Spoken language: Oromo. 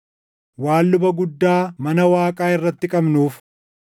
waan luba guddaa mana Waaqaa irratti qabnuuf,